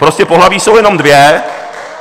Prostě pohlaví jsou jenom dvě.